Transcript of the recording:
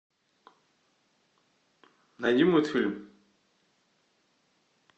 найди мультфильм